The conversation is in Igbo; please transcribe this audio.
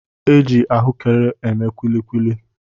E ji ahụekere eme kuli kuli.